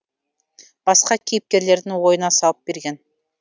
басқа кейіпкерлердің ойына салып берген